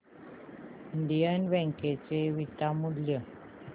Indian Bank चे beta मूल्य